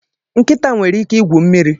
Nkịta nwere ike igwu mmiri